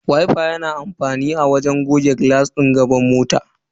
Wifa na da amfani wajen goge ruwa daga jikin glass din gaba na mota.